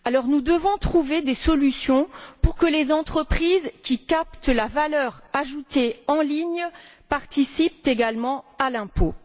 Nous devons trouver des solutions pour que les entreprises qui captent la valeur ajoutée en ligne participent également à l'impôt.